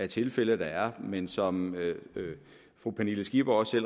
tilfælde der er men som fru pernille skipper også